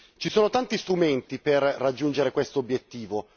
Ci sono tanti strumenti per raggiungere questo obiettivo.